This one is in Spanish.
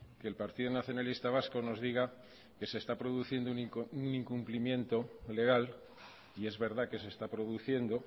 que el partido nacionalista vasco nos diga que se está produciendo un incumplimiento legal y es verdad que se está produciendo